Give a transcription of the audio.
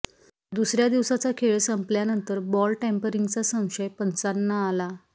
दुसर्या दिवसाचा खेळ संपल्यानंतर बॉल टेम्परिंगचा संशय पंचांना आला